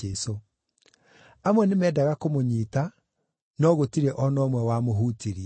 Amwe nĩmendaga kũmũnyiita, no gũtirĩ o na ũmwe wamũhutirie.